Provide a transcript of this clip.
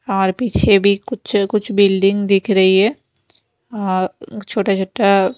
और पीछे भी कुछ-कुछ बिल्डिंग दिख रही है और छोटा-छोटा --